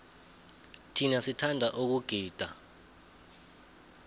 thina sithanda ukugida